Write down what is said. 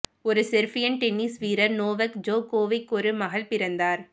ஒரு Serbian tennis வீரர் Novak Djokovic ஒரு மகள் பிறந்தார்